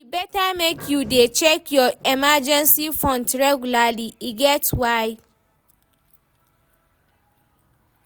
e better make you dey check your emergency funds regularly, e get why